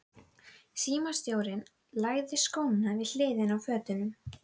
Símstjórinn lagði skóna við hliðina á fötunum.